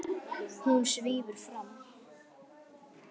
Hún svífur fram.